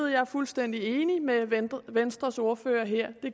jeg er fuldstændig enig med venstres ordfører her